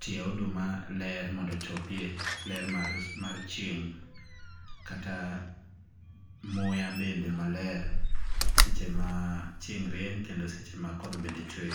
tie oduma ler mondo ochopie ler mar chieng kata muya bende maler seche ma chieng' rieny kendo seche ma koth bende chwe.